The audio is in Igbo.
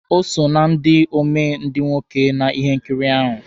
O so na ndị omee ndị nwoke na ihe nkiri ahụ